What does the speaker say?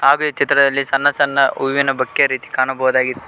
ಹಾಗೆ ಈ ಚಿತ್ರದಲ್ಲಿ ಸಣ್ಣ ಸಣ್ಣ ಹೂವಿನ ಬೊಕ್ಕೆ ರೀತಿ ಕಾಣಬಹುದಾಗಿ--